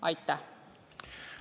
Aitäh!